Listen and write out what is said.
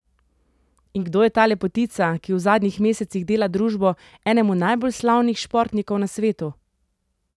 In kdo je ta lepotica, ki v zadnjih mesecih dela družbo enemu najbolj slavnih športnikov na svetu?